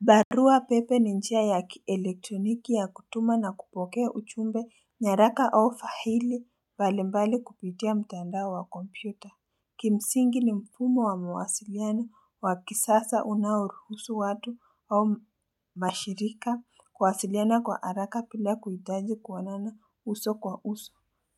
Barua pepe ni njia ya kielektroniki ya kutuma na kupokea uchumbe nyaraka au fahili mbalimbali kupitia mtandao wa kompyuta. Kimsingi ni mfumo wa mawasiliano wa kisasa unaoruhusu watu au mashirika kuwasiliana kwa araka pila kuitaji kuonana uso kwa uso.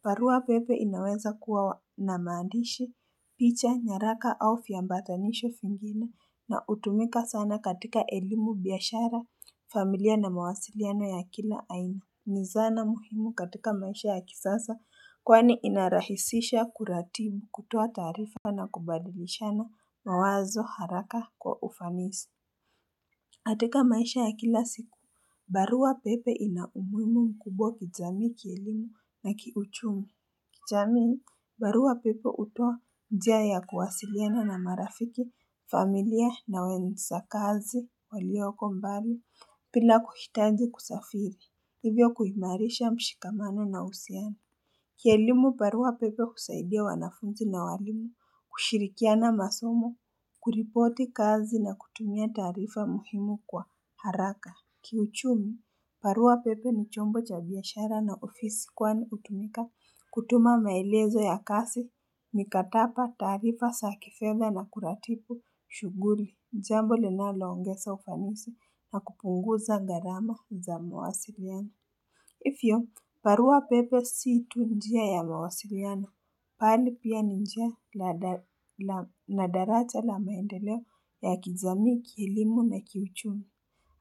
Barua pepe inaweza kuwa na maandishi, picha, nyaraka au fiyambatanisho fingine na utumika sana katika elimu biashara familia na mawasiliano ya kila aina. Ni zana muhimu katika maisha ya kisasa kwani inarahisisha kuratibu kutoa taarifa na kubadilishana mawazo haraka kwa ufanisi. Katika maisha ya kila siku, barua pepe inaumuhimu mkubwa kijamii kielimu na kiuchumi. Kichamii barua pepe utoa njia ya kuwasiliana na marafiki, familia na wenzakazi waliyoko mbali pila kuhitaji kusafiri, ivyo kuhimarisha mshikamano na usiana. Kielimu baruwa pepe husaidia wanafunzi na walimu, kushirikiana masomo, kuripoti kazi na kutumia taarifa muhimu kwa haraka. Kiuchumi, baruwa pepe ni chombo cha biashara na ofisi kwani hutumika kutuma maelezo ya kasi, mikatapa taarifa sa kifedha na kuratipu, shuguli, jambo linaloongesa ufanisi na kupunguza garama za mawasiriano. Ifyo, barua pepe si tu njia ya mawasiliano, bali pia ni njia na daraja la maendeleo ya kijami, kielimu na kiuchumi.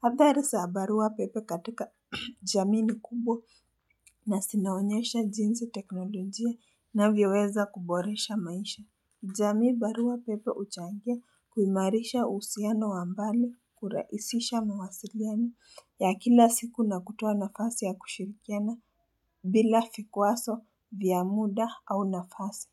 Hadhari za barua pepe katika jamii ni kubwa na sinaonyesha jinsi teknolojia inavyoweza kuboresha maisha. Jamii barua pepe uchangia kuimarisha usiano wa mbali kuraisisha mawasiriani ya kila siku na kutoa nafasi ya kushirikiana bila fikwaso vya muda au nafasi.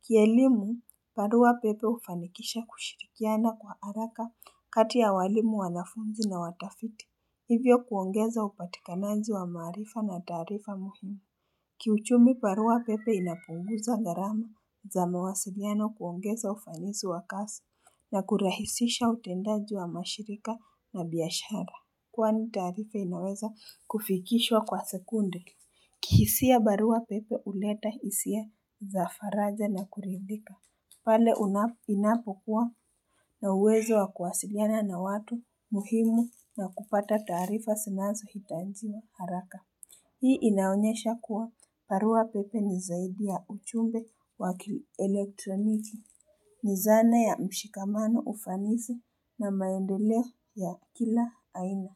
Kielimu, barua pepe ufanikisha kushirikiana kwa araka kati ya walimu wanafunzi na watafiti. Hivyo kuongeza upatikanaji wa maarifa na taarifa muhimu. Kiuchumi barua pepe inapunguza gharama za mawasiliano kuongeza ufanisi wa kasi na kurahisisha utendaji wa mashirika na biashara Kwani taarifa inaweza kufikishwa kwa sekunde kihisia barua pepe uleta isia za faraja na kuridhika pale inapokuwa na uwezo wa kuwasiliana na watu muhimu na kupata taarifa sinazo hitanjia haraka Hii inaonyesha kuwa barua pepe ni zaidi ya uchumbe wa kilelektroniki. Ni zana ya mshikamano ufanisi na maendeleo ya kila aina.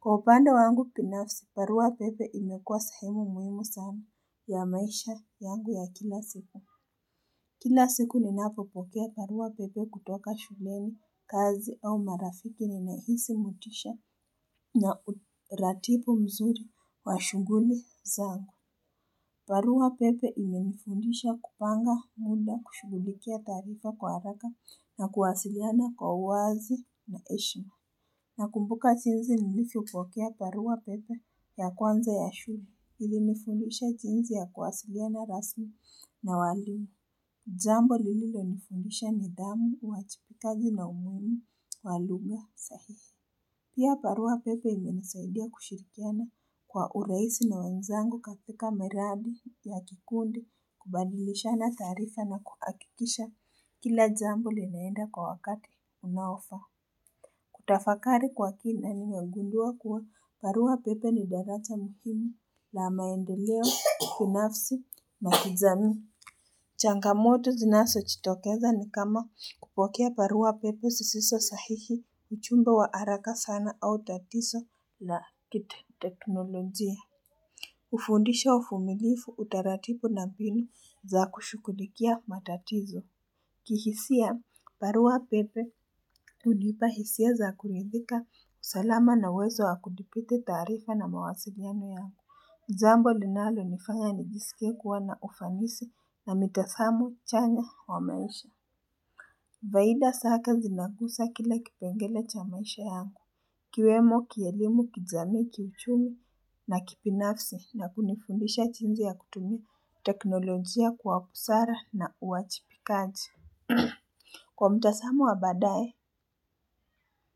Kwa upande wangu pinafsi, baruwa pepe imekua sehemu muhimu sana ya maisha yangu ya kila siku. Kila siku ninapopokea barua pepe kutoka shuleni, kazi au marafiki ninahisi motisha na uratibu mzuri wa shunguli zaangu. Baruwa pepe imenifundisha kupanga muda kushugulikia taarifa kwa haraka na kuwasiliana kwa uwazi na eshma. Nakumbuka chinzi nilifyopokea baruwa pepe ya kwanza ya shule ilinifundisha jinzi ya kuwasiliana rasmi na walimu. Jambo lililonifundisha nidhamu, uwajibikaji na umuimu, wa lugha, sahihi. Pia barua pepe imenisaidia kushirikiana kwa urahisi na wenzangu katika meradi ya kikundi kubadilishana taarifa na kuakikisha kila jambo linaenda kwa wakati unaofaa. Kutafakari kwa kina nimegundua kuwa baruwa pepe ni daraja muimu la maendeleo binafsi na kijamii. Changamoto zinaso chitokeza ni kama kupokea barua pepe sisiso sahihi uchumbe wa araka sana au tatiso la kiteteknolojia. Ufundisha ufumilifu utaratipu na binu za kushugulikia matatizo. Kihisia baruwa pepe hudipa hisia za kuridhika usalama na uwezo wa kudipite taarifa na mawasiliano yangu. Jambo linalonifanya nijisike kuwa na ufanisi na mitasamo chanya wa maisha Vaida sake zinagusa kila kipengele cha maisha yangu ikiwemo kielimu kijamii kiuchumi na kibinafsi na kunifundisha chinzi ya kutumia teknolojia kwa busara na uachipikaji Kwa mtasamo wa badaye.